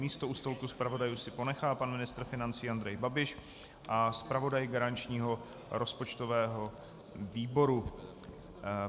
Místo u stolku zpravodajů si ponechá pan ministr financí Andrej Babiš a zpravodaj garančního rozpočtového výboru.